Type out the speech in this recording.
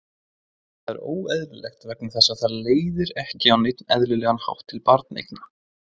Það er óeðlilegt vegna þess að það leiðir ekki á neinn eðlilegan hátt til barneigna.